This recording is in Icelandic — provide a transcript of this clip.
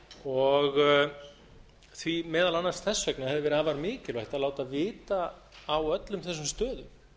og meðal annars þess vegna hefði verið afar mikilvægt að láta vita á öllum þessum stöðum